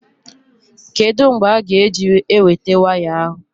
Kedụ mgbe a-ga eweta waya ahụ?